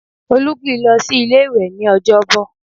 Olú kì í lọ sí ilé-ìwẹ́ ní Ọjọ́bọ̀